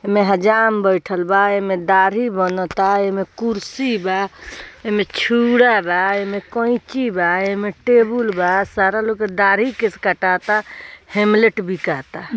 एमे हजाम बैठल बा | एमे दाढ़ी बनता | एमे कुर्सी बा | एमे छुरा रा | एमे कैची बा | एमे टेबुल बा | सारा लोग दाढ़ी केस कटाता | हेमलेट बिकाता --